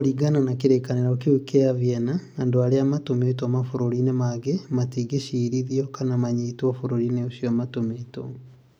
Kũringana na kĩrĩkanĩro kĩu kĩa Vienna, andũ arĩa matũmĩtwo mabũrũri-inĩ mangĩ matingĩciirithio kana manyitwo bũrũri-inĩ ũrĩa matũmĩtwo.